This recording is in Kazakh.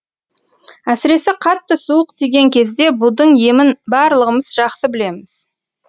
әсіресе қатты суық тиген кезде будың емін барлығымыз жақсы білеміз